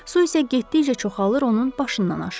Su isə getdikcə çoxalır, onun başından aşırdı.